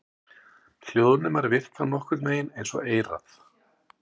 Hljóðnemar virka nokkurn vegin eins og eyrað.